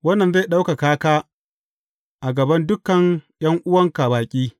Wannan zai ɗaukaka ka a gaban dukan ’yan’uwanka baƙi.